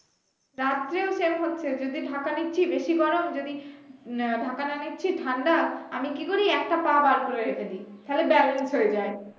রাত্রেও সেইম হচ্ছে যদি ঢাকা নিচ্ছি বেশি গরম যদি উম ঢাকা না নিচ্ছি ঠান্ডা আমি কি করি একটা পা বের করে রেখে দেই তাহলে balance হয়ে যায়